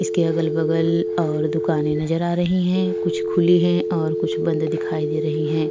इसके अगल-बगल और दुकाने नजर आ रही है। कुछ खुली हुई है और कुछ बंद दिखाई दे रहे है।